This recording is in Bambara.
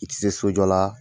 U tɛ se so jɔ la